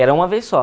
Era uma vez só.